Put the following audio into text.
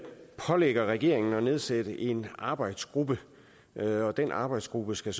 pålægger regeringen at nedsætte en arbejdsgruppe arbejdsgruppen skal